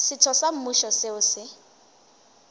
setho sa mmušo seo se